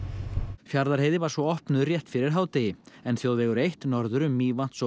Fjarðarheiði var svo opnuð rétt fyrir hádegi en þjóðvegur eitt norður um Mývatns og